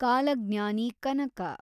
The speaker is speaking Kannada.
ಕಾಲಜ್ಞಾನಿ ಕನಕ